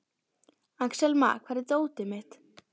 Axelma, hvar er dótið mitt?